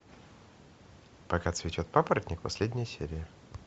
пока цветет папоротник последняя серия